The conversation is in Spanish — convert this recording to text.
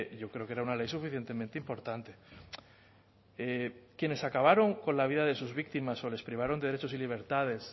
yo creo que era una ley suficientemente importante quienes acabaron con la vida de sus víctimas o les privaron de derechos y libertades